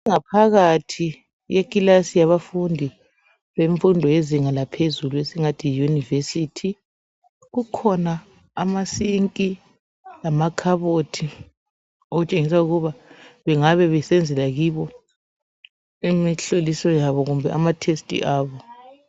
Ingaphakathi yekilasi yabafundi bemfundo yezinga laphezulu esingathi yiYunivesithi kukhona amasinki lamakhabothi okutshengisa ukuba bengabebesenzela kiwo imihloliso yabo kumbe amatesti abo.